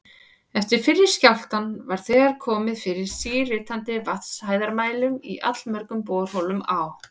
Eftir fyrri skjálftann var þegar komið fyrir síritandi vatnshæðarmælum í allmörgum borholum á